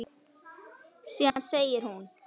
Síðan segir hún